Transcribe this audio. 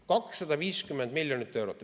250 miljonit eurot!